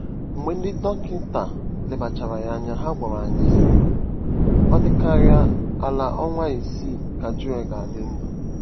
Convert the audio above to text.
Mgbe ndị dọkịta lebachara ya anya, ha gwara anyị, sị: “ Ọ dịkarịa ala ọnwa isii ka Joel ga-adị ndụ .”